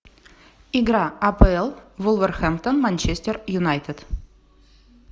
игра апл вулверхэмптон манчестер юнайтед